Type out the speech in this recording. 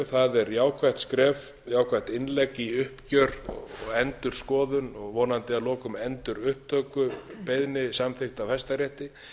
það er jákvætt innlegg í uppgjör og endurskoðun og vonandi að lokum endurupptökubeiðni samþykkt af hæstarétti